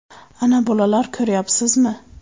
Ana bolalar, ko‘ryapsizmi?